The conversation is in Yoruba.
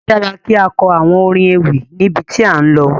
A dára kí á kọ àwọn orin ewì níbi tí à ń lọ.